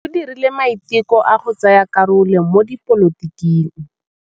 O dirile maitekô a go tsaya karolo mo dipolotiking.